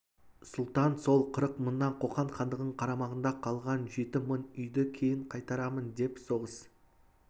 сұлтан сол қырық мыңнан қоқан хандығының қарамағында қалған жеті мың үйді кейін қайтарамын деп соғыс